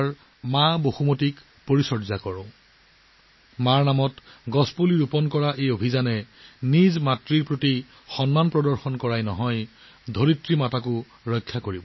মাতৃৰ নামত গছ ৰোপণৰ অভিযানত মাতৃৰ প্ৰতি সন্মান থাকিব মাতৃ পৃথিৱীকো সুৰক্ষিত কৰা হ'ব